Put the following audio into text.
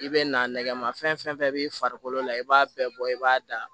I bɛ na nɛgɛmafɛn b'i farikolo la i b'a bɛɛ bɔ i b'a da